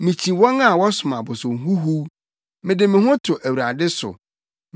Mikyi wɔn a wɔsom abosom huhuw; mede me ho to Awurade so.